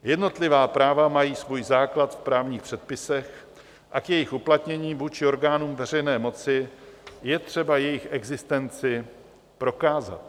Jednotlivá práva mají svůj základ v právních předpisech a k jejich uplatnění vůči orgánům veřejné moci je třeba jejich existenci prokázat.